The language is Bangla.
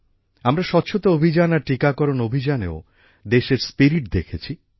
আমরা স্বচ্ছতা অভিযান আর টিকাকরণ অভিযানেও দেশের স্পিরিট দেখেছি